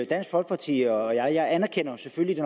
dansk folkeparti og jeg anerkender selvfølgelig